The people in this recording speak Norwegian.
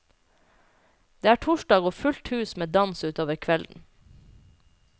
Det er torsdag og fullt hus med dans utover kvelden.